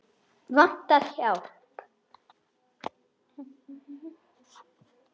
Vantar hjálp.